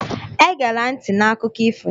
Egela ntị na Akụkọ ifo ya!